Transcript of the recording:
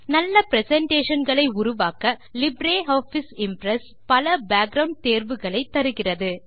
நல்ல பிரசன்டேஷன் களை உருவாக்க லிப்ரியாஃபிஸ் இம்ப்ரெஸ் பல பேக்கிரவுண்ட் தேர்வுகளைத்தருகிறது